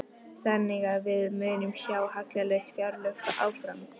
Þannig að við munum sjá hallalaus fjárlög áfram?